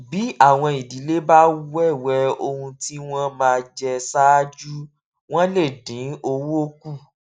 bí àwọn ìdílé bá wéwè ohun tí wọn máa jẹ ṣáájú wọn lè dín owó kù